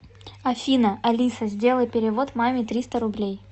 афина алиса сделай перевод маме триста рублей